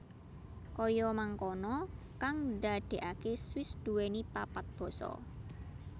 Kaya mangkono kang ndadekake Swiss nduwèni papat basa